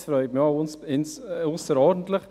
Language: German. Das freut mich ausserordentlich.